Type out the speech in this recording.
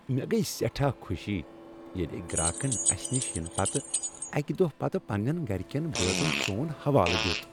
مےٚ گٔیہ سیٹھاہ خوشی ییٚلہِ أکۍ گراكن اسہِ نِش یِنہٕ پتہٕ اکہِ دۄہ پتہٕ پننین گرِ كیٚن بٲژن سون حوالہٕ دیُت۔